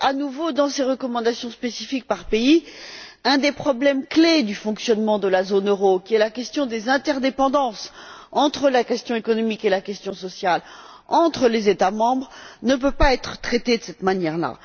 C'est qu'à nouveau, dans ces recommandations spécifiques par pays, un des problèmes clés du fonctionnement de la zone euro, qui est la question des interdépendances entre la question économique et la question sociale, entre les États membres, ne peut pas être traitée de cette manière là.